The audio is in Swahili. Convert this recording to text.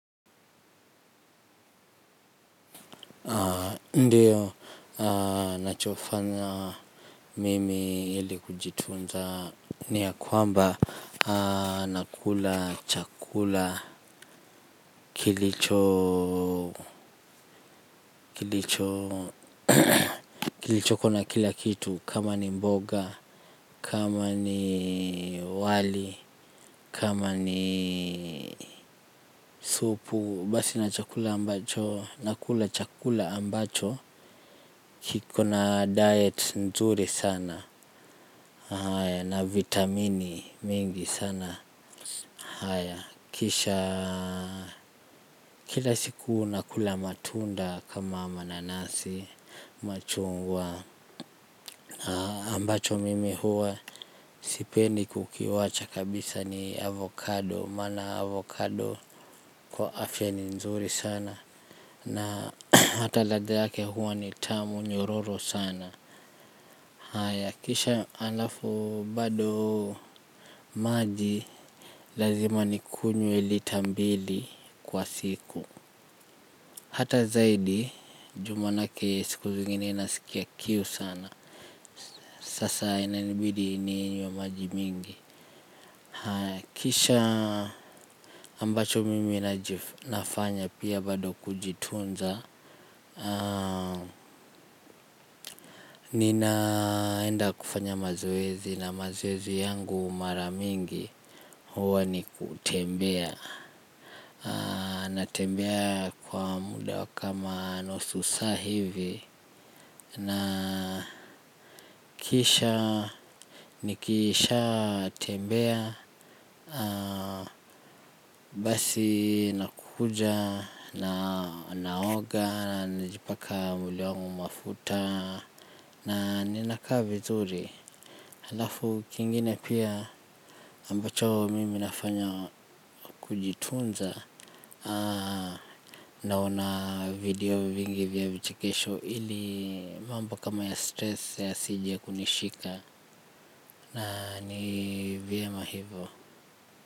Ndiyo nachofanya mimi ili kujitunza ni ya kwamba nakula chakula kilicho kilicho kilichoko na kila kitu kama ni mboga kama ni wali kama ni supu basi na chakula ambacho nakula chakula ambacho kiko na diet nzuri sana na vitamini mingi sana. Kisha kila siku nakula matunda kama mananasi machungwa ambacho mimi huwa sipendi kukiwacha kabisa ni avocado. Mana avocado kwa afya ni nzuri sana. Na hata ladhe yake huwa ni tamu nyororo sana. Kisha alafu bado maji lazima nikunywa lita mbili kwa siku. Hata zaidi juu manake siku zingine nasikia kiu sana. Sasa inanibidi ninywe maji mingi. Kisha ambacho mimi nafanya pia bado kujitunza. Ninaenda kufanya mazoezi na mazoezi yangu mara mingi. Huwa ni kutembea. Natembea kwa muda kama nusu saa hivi. Na kisha Nikishatembea Basi nakuja na naoga. Najipaka mwilli wangu mafuta na ninakaa vizuri. Halafu kingine pia ambacho mimi nafanya kujitunza. Naona video vingi vya vichekesho ili mambo kama ya stress yasije kunishika. Na ni vyema hivo.